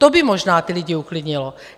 To by možná ty lidi uklidnilo.